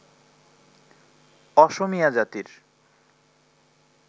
অসমীয়া জাতির